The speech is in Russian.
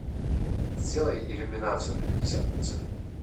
сделай иллюминацию на пятьдесят процентов